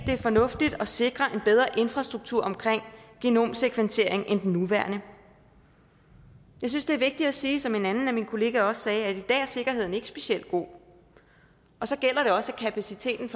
er fornuftigt at sikre en bedre infrastruktur omkring genomsekventering end den nuværende jeg synes det er vigtigt at sige sådan som en anden af mine kollegaer også sagde at sikkerheden i ikke specielt god og så gælder det formentlig også at kapaciteten